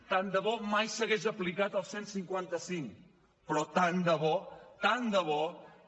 tant de bo mai s’hagués aplicat el cent i cinquanta cinc però tant de bo tant de bo